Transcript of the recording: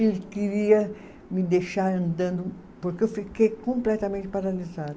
Ele queria me deixar andando, porque eu fiquei completamente paralisada.